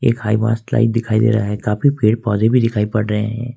दिखाई दे रहा है काफी पेड़ पौधे भी दिखाई पड़ रहे हैं।